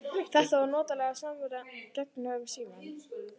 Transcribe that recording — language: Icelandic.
Þetta var notaleg samvera gegnum símann.